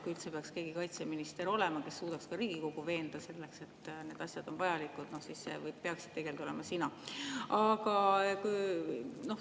Kui üldse keegi kaitseministrina suudaks ka Riigikogu veenda selles, et need asjad on vajalikud, siis see peaksid tegelikult olema sina.